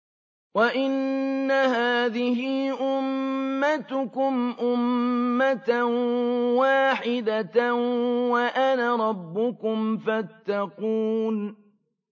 وَإِنَّ هَٰذِهِ أُمَّتُكُمْ أُمَّةً وَاحِدَةً وَأَنَا رَبُّكُمْ فَاتَّقُونِ